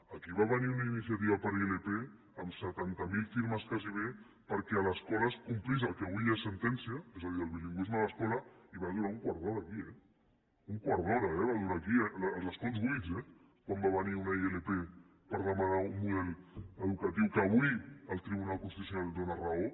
aquí va venir una iniciativa per ilp amb setanta mil firmes gairebé perquè a l’escola es complís el que avui ja és sentència és a dir el bilingüisme a l’escola i va durar un quart d’hora aquí eh un quart d’hora eh va durar aquí els escons buits eh quan va venir una ilp per demanar un model educatiu a què avui el tribunal constitucional dóna raó